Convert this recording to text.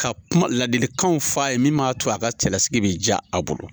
Ka kuma ladilikan fa a ye min b'a to a ka cɛlasigi bɛ diya a bolo.